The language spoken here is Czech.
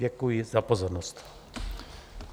Děkuji za pozornost.